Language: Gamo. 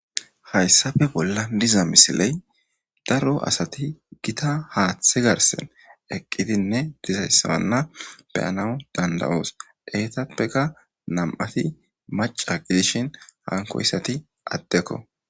hayssafe bolla diza misiley daro asati gita haaththe garsen eqqidinne dizayssaanna beyana danda7oos eetappeka nam7ati maca gidishin hankoyssati addekko